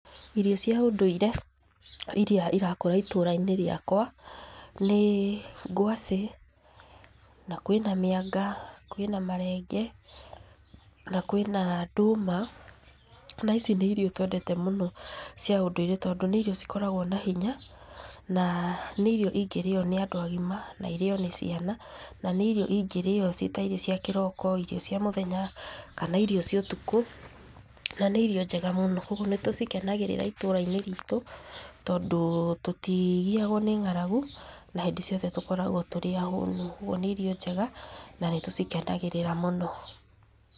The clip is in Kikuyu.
Irio cia ũndũire, iria irakũra itũra-inĩ rĩakwa, nĩ, ngwacĩ, na kwĩna mĩanga, kwĩna marenge, na kwĩna ndũma, na icio nĩ irio twendete mũno cia ũndũire tondũ nĩ irio cikoragwo na hinya, na nĩ irio ingírĩo nĩ andũ agima, na irĩo nĩ ciana, nanĩ irio ingĩrĩo ciĩ ta irio cia kĩroko, irio cia mũthenya, kana irio cia ũtukũ, na nĩ irio njega mũno, nĩtũcikenagíríra itũra-inĩ ritũ, tondũ, tũtigiagwo nĩ ng'aragu, na hĩndĩ ciothe tũkoragwo tũrĩ ahũnu, ũguo nĩ irio njega na nĩtũcikenagĩrĩra mũno.